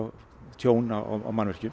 tjón á mannvirkjum